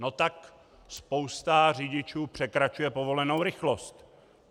No tak spousta řidičů překračuje povolenou rychlost!